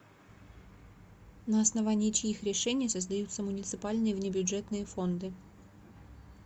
на основании чьих решений создаются муниципальные внебюджетные фонды